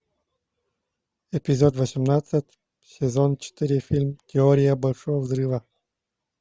эпизод восемнадцать сезон четыре фильм теория большого взрыва